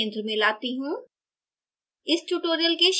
अब मैं इसे centre में लाती हूँ